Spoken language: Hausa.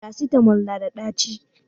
farasitamol nada daci